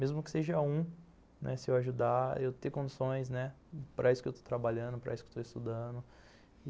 Mesmo que seja um, né, se eu ajudar, eu ter condições, né, para isso que eu estou trabalhando, para isso que eu estou estudando.